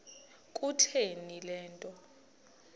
kutheni le nto